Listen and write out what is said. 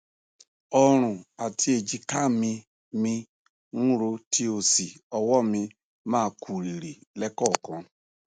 ọrùn àti èjìká mí mí ń ro tí ó sì ọwọ mi máa kú rìrì lẹẹkọọkan